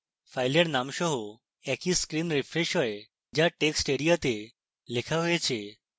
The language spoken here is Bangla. ফাইলের নাম সহ একই screen refreshes হয় the এখন text এরিয়াতে লেখা হয়েছে